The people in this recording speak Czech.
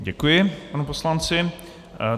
Děkuji panu poslanci.